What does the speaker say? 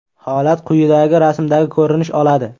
Holat quyidagi rasmdagi ko‘rinish oladi.